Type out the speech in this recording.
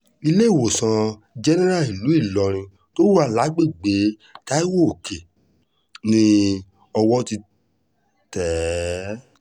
iléewòsàn jẹ́nẹ́ra ìlú ìlọrin tó wà lágbègbè taiwo-òkè ni owó ti tẹ̀ é